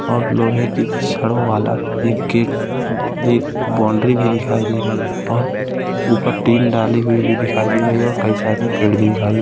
और लोहे की छड़ों वाला एक गेट अ ए एक बाउंड्री भी दिखाई दे रही है और ऊपर टीन डाली हुई भी दिखाई दे रही है और कई सारे पेड़ भी दिखाई दे रहे है।